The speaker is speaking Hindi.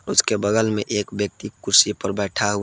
उसके बगल में एक व्यक्ति कुर्सी पर बैठा हुआ।